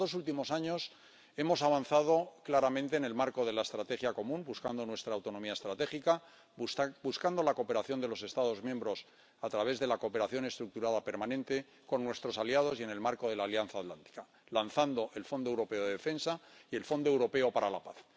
En los dos últimos años hemos avanzado claramente en el marco de la estrategia común, buscando nuestra autonomía estratégica, buscando la cooperación de los Estados miembros a través de la cooperación estructurada permanente con nuestros aliados y en el marco de la Alianza Atlántica, y lanzando el Fondo Europeo de Defensa y el Fondo Europeo de Apoyo a la Paz.